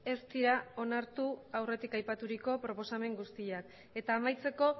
ez dira onartu aurretik aipaturiko proposamen guztiak eta amaitzeko